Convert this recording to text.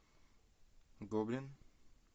гоблин